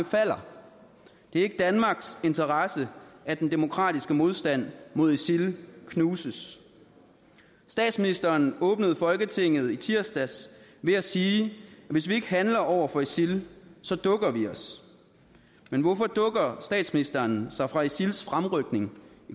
falder det er ikke i danmarks interesse at den demokratiske modstand mod isil knuses statsministeren åbnede folketinget tirsdags med at sige at hvis vi ikke handler over for isil så dukker vi os men hvorfor dukker statsministeren sig for isils fremrykning